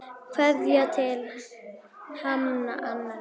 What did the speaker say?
Kveðja til himna, Anna Lydía.